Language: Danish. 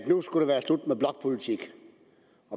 nu skulle være slut